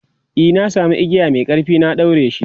e na samu igiya Mai ƙarfi na daureshi